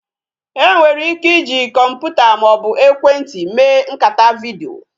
E nwere ike iji kọmputa maọbu ekwentị mee nkata vidiyo